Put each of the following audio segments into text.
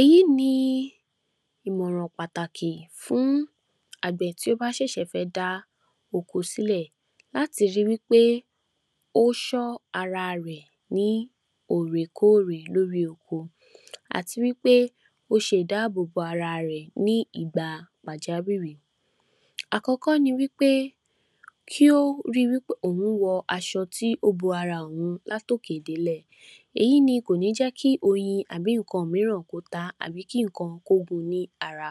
Èyí ni ìmọ̀ràn pàtàkì fún Àgbẹ̀ tí ó bá ṣẹ̀ṣẹ̀ fẹ́ dá oko sílẹ̀ láti ri wí pé ó ṣọ́ ara rẹ̀ ní òrèkóòrè lórí oko àti wí pé ó ṣe ìdábòbò ara rẹ̀ ní ìgbà pàjá wìrì Àkọ́kọ́ ni wí pé kí ó ri wí pé òun wọ aṣọ tí ó bo ara òun láti òkè délẹ̀ èyí ni kò ní jẹ́ kí oyin tàbí nǹkan míìràn ó tá á àbí kí nǹkan ó gun ní ara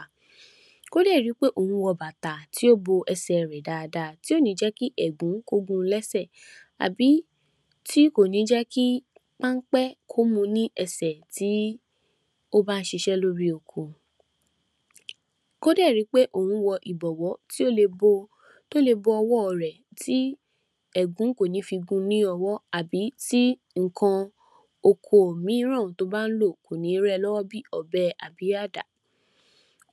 Kí ó dẹ̀ rí wí pé òun wọ bàtà tí ò bo ẹsẹ rẹ̀ dáada tí kò ní jẹ́ kí ẹ̀ẹ̀gún kó gun lẹ́sẹ̀ àbí tí kò ní jẹ́ kí pámpẹ́ kó mu ní ẹsẹ̀ tí ó bá ń ṣiṣẹ́ lọ́rí oko kó dẹ̀ ri wí pé òun wọ ìbọ̀wọ́ tí ó le bo tó le bo ọwọ́ rẹ̀ tí ẹ̀ẹ̀gún kò ní fi gun ní ọwọ àbí tí nǹkan oko míìràn tí ó bá ń lò kò ní rẹ lọ́wọ́ bí òbẹ tàbí àdá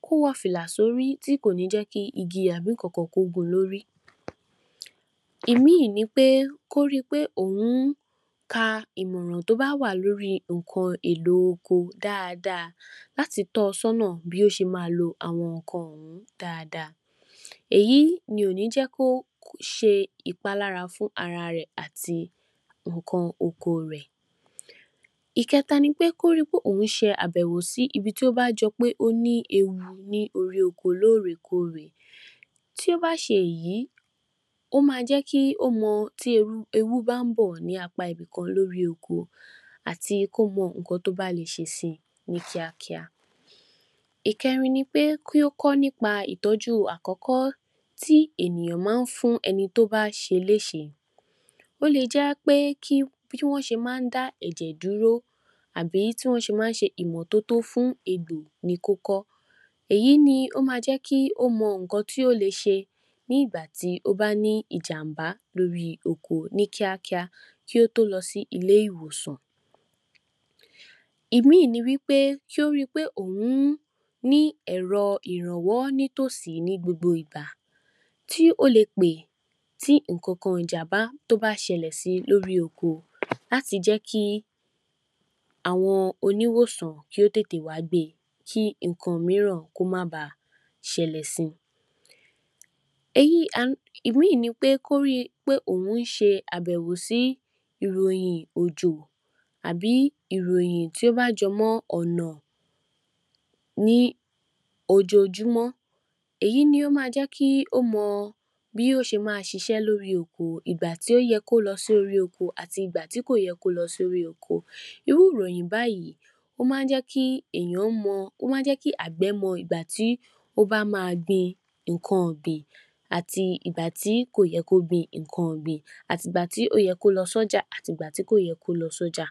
Kó wọ fìlà sórí tí kò ní jẹ́ kí igi àbí nǹkan-kan gun lórí Ìmí ni pé kí ó ri pé òun ka ìmọràn tí ó báwà lórí nǹkan ohun èlò oko dáada láti tọ sọ́nà bí ó ṣe ma lo àwọn nǹkan wọ̀nyìí dáada èyí ni kò ní jẹ́ kí ó ṣe ìpálára fún ara rẹ̀ àti nǹkan oko rẹ̀ Ìkẹ́ta ni pé kí ó ri pé òun se àbẹ̀wò sí ibi tí ó bá jọpé ó ní ewu ní orí oko lórè kórè tí ó ba ṣè èyí ó mà jẹ́ kí ó mọ tí ewu bá n bọ̀ ní apá ibìkan lórí oko àti kó wo nǹkan tí ó bá le ṣe si ní kíàkíà Ìkẹ́rin ni pé kí ó kọ́ ní pa ìtọ́jú àkọ́kọ́ tí enìyàn máa ń fún ẹni tí ó bá ṣe léṣè e Ó le jẹ́ kí bí wọ́n ṣe máa ń dá ẹ̀jẹ̀ dúró àbí tí wọ́n ṣe màa ń ṣe ìmọ́tóótó fún egbò ni kí ó kọ́ èyí ni ó ma jẹ́ kí ó mọ nǹkan tí ó le ṣe nígbà tí ó bá ní ìjàmbá lórí oko ní kíákíá kí ó tó lọ sí ilé-ìwòsàn Ìmí ní wí pé, kí ó ri pé òun ní ẹ̀rọ ìrànwọ́ nítòsí ní gbogbo ìgbà tí ó le pè ti ìkokòrò ijà bá ṣẹlẹ̀ si lórí oko láti jẹ́ kí àwọn oníwòsàn kí ó tètè wà á gbe kí nǹkan míìràn kó má ba ṣẹlẹ̀ si Ìwúyì ni wí pé kó ri pé òun ń ṣe àbẹ̀wò sí ìròyìn òjò àbí ìròyìn tí ó bá jọ mọ ọ̀nà ní ojojúmọ́ èyí ni ó ma jẹ́ kí ó mọ bí ó ṣe ma ṣiṣẹ́ lórí oko, ìgbà tí ó yẹ kí ó lọ sí orí oko àti ìgbá tí kò yẹ kí ó lọ sí orí oko. Irú ìròyìn báyìì ó máa ń jẹ́ kí èèyàn mọ àgbẹ̀ mọ ìgbà tí ó bá ma gbin nǹkan ìgbìn àti ìgbà tí kò yẹ kí ó gbin nǹkan ìgbìn àti ìgbà tí ó yẹ kí ó lọ sí ọjà, àti ìgbà tí kó yẹ kí ó lọ sí ọjà